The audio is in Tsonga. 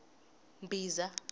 mbhiza